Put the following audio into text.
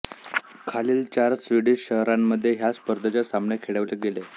खालील चार स्वीडिश शहरांमध्ये ह्या स्पर्धेचे सामने खेळवले गेले